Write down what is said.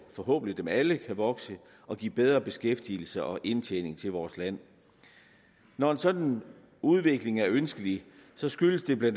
forhåbentlig alle kan vokse og give bedre beskæftigelse og indtjening til vores land når en sådan udvikling er ønskelig skyldes det bla